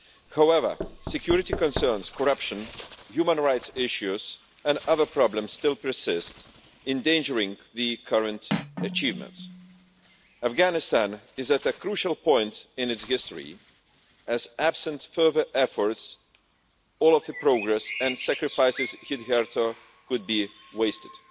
However, security concerns, corruption, human rights issues and other problems still persist, endangering the current achievements. Afghanistan is at a crucial point in its history, as in the absence of further efforts, all of the progress and sacrifices hitherto could be wasted.